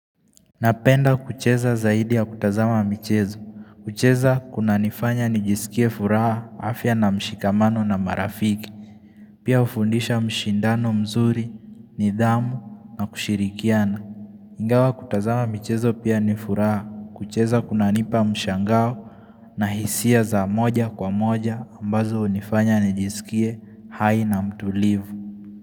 Napenda kucheza zaidi ya kutazama michezo. Kucheza kuna nifanya nijisikie furaha afya na mshikamano na marafiki. Pia hufundisha mshindano mzuri, nidhamu na kushirikiana. Ingawa kutazama michezo pia nifuraha. Kucheza kuna nipa mshangao na hisia za moja kwa moja ambazo hunifanya nijisikie hai na mtulivu.